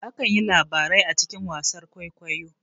Akan yi labarai a cikin wasar kwaikwayo